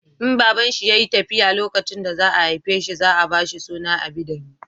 In babanshi ya yi tafiya lokacin da za a haife shi za a ba shi suna Abidemi